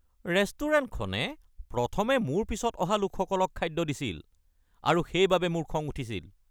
ৰেষ্টুৰেণ্টখনে প্ৰথমে মোৰ পিছত অহা লোকসকলক খাদ্য দিছিল আৰু সেইবাবে মোৰ খং উঠিছিল।